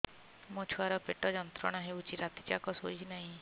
ମୋ ଛୁଆର ପେଟ ଯନ୍ତ୍ରଣା ହେଉଛି ରାତି ଯାକ ଶୋଇନାହିଁ